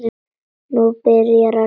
Nú byrjaði að rigna.